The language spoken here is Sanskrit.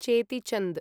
चेति चन्द्